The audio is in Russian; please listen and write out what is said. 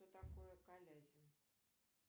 что такое колязин